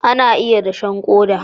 ana iya dashen koda